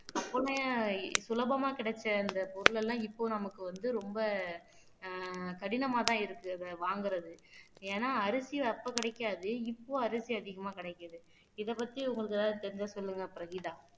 அப்பமுமே சுலபமா கிடைச்ச அந்த பொருள் எல்லாம் இப்போ நமக்கு வந்து ரொம்ப ஆஹ் கடினமாதான் இருக்கு அத வாங்குறது ஏன்னா அரிசி அப்போ கிடைக்காது இப்போ அரிசி அதிகமா கிடைக்குது இ பத்தி உங்களுக்கு ஏதாவது தெரிஞ்சா சொல்லுங்க பிரகீதா